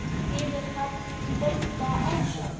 Biður hann nú bónda ásjár.